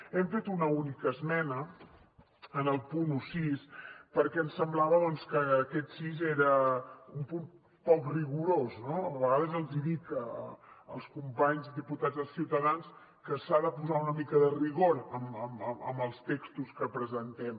hem fet una única esmena en el punt setze perquè ens semblava doncs que aquest sis era un punt poc rigorós no a vegades els dic als companys diputats de ciutadans que s’ha de posar una mica de rigor en els textos que presentem